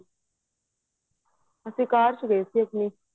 ਅਸੀਂ ਕਾਰ ਵਿੱਚ ਗਏ ਸੀ ਆਪਣੀ